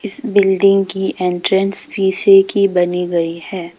इस बिल्डिंग की एंट्रेंस शीशे की बनी गई है।